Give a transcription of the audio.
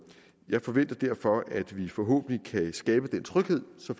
jeg forventer derfor at vi forhåbentlig kan skabe den tryghed så